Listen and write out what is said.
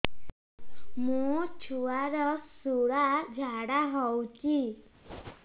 ମୋ ଛୁଆର ସୁଳା ଝାଡ଼ା ହଉଚି